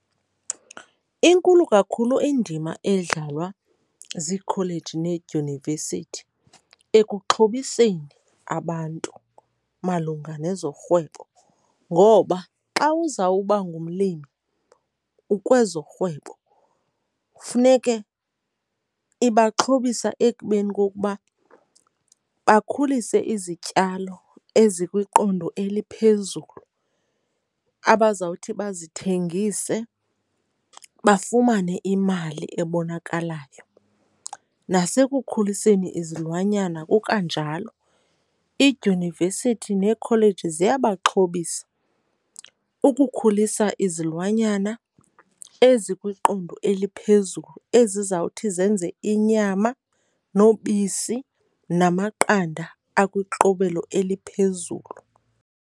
Inkulu kakhulu indima edlalwa ziikholeji needyunivesithi ekuxhobiseni abantu malunga nezorhwebo ngoba xa uzawuba ngumlimi ukwezorhwebo, funeke ibaxhobisa ekubeni kokuba bakhulise izityalo ezikwiqondo eliphezulu abazawuthi bazithengise bafumane imali ebonakalayo. Nasekukhuliseni izilwanyana kukwanjalo, iidyunivesithi neekholeji ziyabaxhobisa ukukhulisa izilwanyana ezikwiqondo eliphezulu ezizawuthi zenze inyama nobisi namaqanda akwiqobelo eliphezulu.